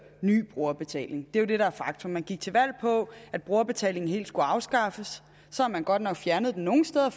ny brugerbetaling det er jo det der er faktum man gik til valg på at brugerbetaling helt skulle afskaffes så har man godt nok fjernet den nogle steder